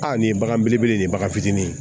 Aa nin bagan belebele in bagan fitinin